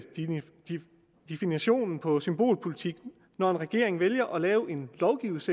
definitionen på symbolpolitik når en regering vælger at lave en